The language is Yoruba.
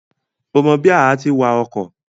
O mọ bí àá ti wa ọkọ̀?